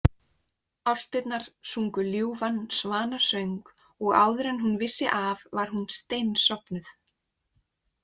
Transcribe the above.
Álftirnar sungu ljúfan svanasöng og áður en hún vissi af var hún steinsofnuð.